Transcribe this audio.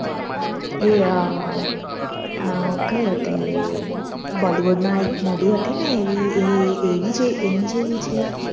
એ કઈ હતી એ Bollywood માં એક Movie હતી ને એની એ એની જેવી છે